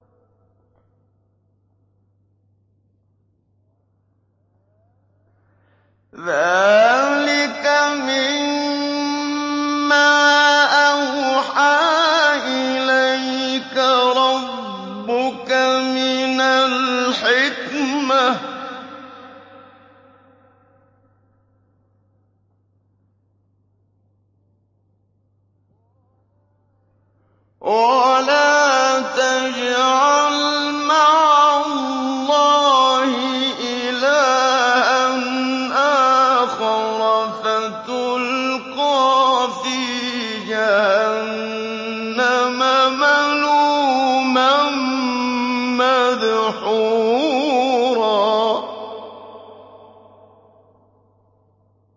ذَٰلِكَ مِمَّا أَوْحَىٰ إِلَيْكَ رَبُّكَ مِنَ الْحِكْمَةِ ۗ وَلَا تَجْعَلْ مَعَ اللَّهِ إِلَٰهًا آخَرَ فَتُلْقَىٰ فِي جَهَنَّمَ مَلُومًا مَّدْحُورًا